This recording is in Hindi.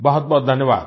बहुतबहुत धन्यवाद